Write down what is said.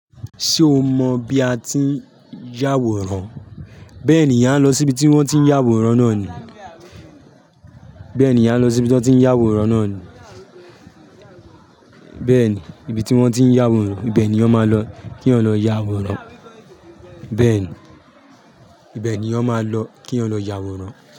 Ṣé o mọ bí a ti ń yàwòrán? Bẹ́ẹ̀ ni, èyàn á lọ síbi tí wọ́n ti ń yàwòrán náà ni. Bẹ́ẹ̀ ni, èyàn á lọ síbi tí wọ́n ti ń yàwòrán náà ni. Bẹ́ẹ̀ ni, ibi tí wọ́n ti ń yàwòrán, ibẹ̀ ni èyàn máa lọ kí èyàn lọ yàwòrán. Bẹ́ẹ̀ ni, ibẹ̀ ni ọ máa lọ kí ọ lọ yàwòrán.